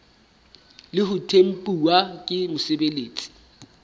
le ho tempuwa ke mosebeletsi